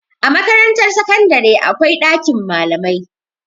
A Makarantar sakandare akwai ɗakin malamai.